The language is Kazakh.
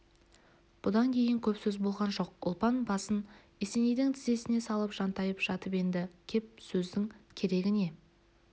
бұдан кейін көп сөз болған жоқ ұлпан басын есенейдің тізесіне салып жантайып жатыпенді кеп сөздің керегі не